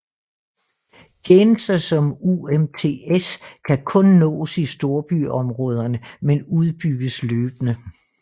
Tjenester som UMTS kan kun nås i storbyområder men udbygges løbende